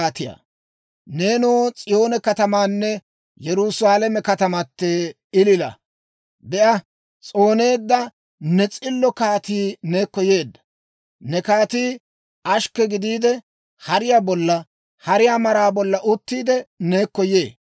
Neenoo S'iyoone katamateenne Yerusaalame katamatee, ilila! Be'a, s'ooneedda ne s'illo kaatii neekko yee. Ne kaatii ashkke gidiide, hariyaa bolla, hariyaa maraa bolla uttiide, neekko yee.